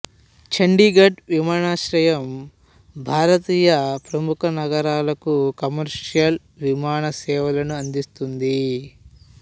చంఢీగఢ్ విమానాశ్రయం భారతీయ ప్రముఖనగరాలకు కమర్షియల్ విమాన సేవలను అందిస్తుంది